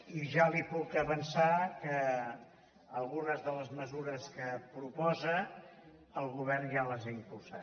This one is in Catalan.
i ja li puc avançar que algunes de les mesures que proposa el govern ja les ha impulsat